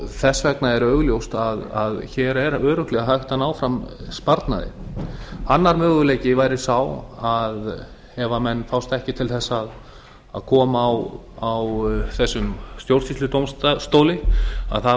þess vegna er augljóst að hér er örugglega hægt að ná fram sparnaði annar möguleiki væri sá að ef menn fást ekki til þess að koma á þessum stjórnsýsludómstóli